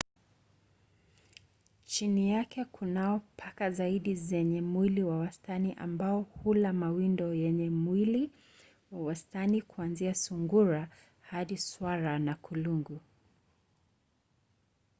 chini yake kunao paka zaidi zenye mwili wa wastani ambao hula mawindo yenye mwili wa wastani kuanzia sungura hadi swara na kulungu